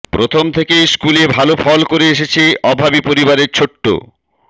প্রথম থেকেই স্কুলে ভাল ফল করে এসেছে অভাবি পরিবারের ছোট্ট